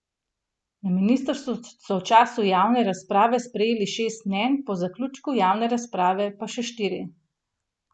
Na ministrstvu so v času javne razprave prejeli šest mnenj, po zaključku javne razprave pa še štiri.